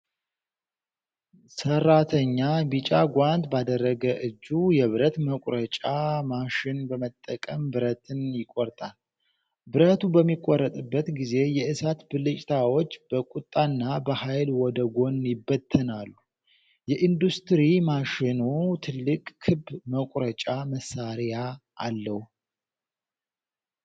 ሰራተኛ ቢጫ ጓንት ባደረገ እጁ የብረት መቁረጫ ማሽን በመጠቀም ብረትን ይቆርጣል። ብረቱ በሚቆረጥበት ጊዜ የእሳት ብልጭታዎች በቁጣና በኃይል ወደ ጎን ይበተናሉ። የኢንዱስትሪ ማሽኑ ትልቅ ክብ መቁረጫ መሳሪያ አለው።